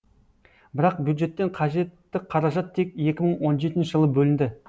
бірақ бюджеттен қажетті қаражат тек екі мың он жетінші жылы бөлінді